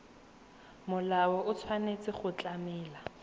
molao o tshwanetse go tlamela